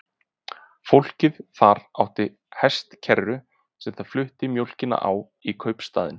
Fólkið þar átti hestakerru sem það flutti mjólkina á í kaupstaðinn.